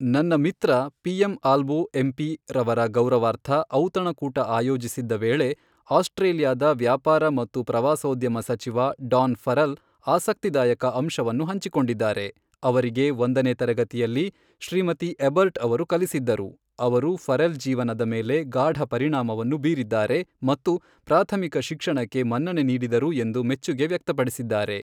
ನನ್ನ ಮಿತ್ರ P M Albo M P ರವರ ಗೌರವಾರ್ಥ ಔತಣಕೂಟ ಆಯೋಜಿಸಿದ್ದ ವೇಳೆ, ಆಸ್ಟ್ರೇಲಿಯಾದ ವ್ಯಾಪಾರ ಮತ್ತು ಪ್ರವಾಸೋದ್ಯಮ ಸಚಿವ ಡಾನ್ ಫರೆಲ್ ಆಸಕ್ತಿದಾಯಕ ಅಂಶವನ್ನು ಹಂಚಿಕೊಂಡಿದ್ದಾರೆ, ಅವರಿಗೆ ಒಂದನೇ ತರಗತಿಯಲ್ಲಿ ಶ್ರೀಮತಿ ಎಬರ್ಟ್ ಅವರು ಕಲಿಸಿದ್ದರು, ಅವರು ಫರೆಲ್ ಜೀವನದ ಮೇಲೆ ಗಾಢ ಪರಿಣಾಮವನ್ನು ಬೀರಿದ್ದಾರೆ ಮತ್ತು ಪ್ರಾಥಮಿಕ ಶಿಕ್ಷಣಕ್ಕೆ ಮನ್ನಣೆ ನೀಡಿದರು ಎಂದು ಮೆಚ್ಚುಗೆ ವ್ಯಕ್ತಪಡಿಸಿದ್ದಾರೆ.